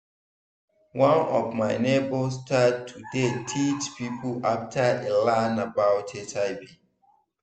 one of my neighbor start to dey teach people after e learn about hiv